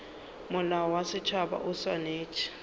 molao wa setšhaba o swanetše